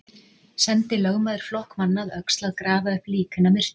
Sendi lögmaður flokk manna að Öxl að grafa upp lík hinna myrtu.